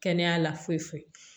Kɛnɛya foyi foyi